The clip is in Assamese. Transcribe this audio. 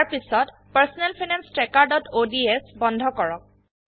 তাৰপিছত personal finance trackerঅডছ বন্ধ কৰক